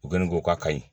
U kɔni ko k'a kaɲi